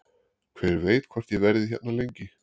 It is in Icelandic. Hver veit hvort ég verði hérna lengi?